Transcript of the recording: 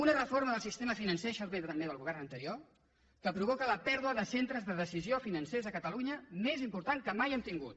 una reforma del sistema financer això ve també del govern anterior que provoca la pèrdua de centres de decisió financers a catalunya més important que mai hem tingut